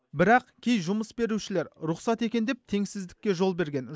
бірақ кей жұмыс берушілер рұқсат екен деп теңсіздікке жол берген